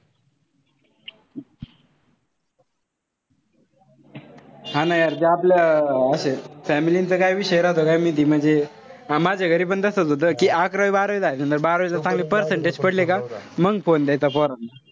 हा ना यार ते आपल्या अशे अं family चा काय विषय राहतो काय माहित. म्हणजे माझ्या घरी पण तसेच होत कि अकरावी बारावी झाल्यानंतर बारावीत जर चांगले percentage पडले का मंग phone द्यायचा पोरांना.